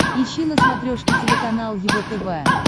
ищи на смотрешке телеканал его тв